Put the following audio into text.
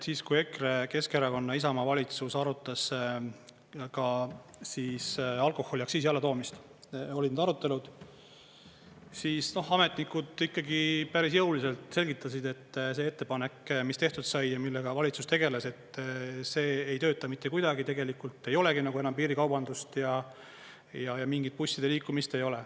Siis kui EKRE, Keskerakonna ja Isamaa valitsus arutas alkoholiaktsiisi alla toomist, olid need arutelud, siis ametnikud ikkagi päris jõuliselt selgitasid, et see ettepanek, mis tehtud sai ja millega valitsus tegeles, et see ei tööta mitte kuidagi, tegelikult ei olegi nagu enam piirikaubandust ja mingit busside liikumist.